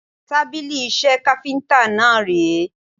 Tábìlì iṣẹ́ káfíntà náà ré.